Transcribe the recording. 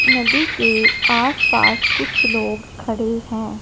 नदी के आस पास कुछ लोग खड़े हैं।